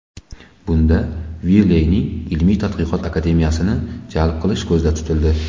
Bunda Wiley’ning Ilmiy-tadqiqot Akademiyasini jalb qilish ko‘zda tutildi.